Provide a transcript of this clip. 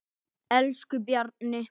Elsku Bjarni.